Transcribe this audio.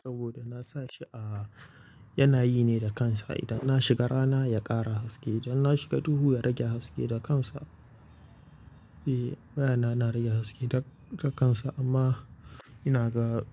Saboda na sa shi a, yana yi ne da kansa. Idan na shiga rana ya ƙara haske, idan na shiga duhu ya rage haske da kansa. Eh waya na, na rage haske da, da kansa amma ina ga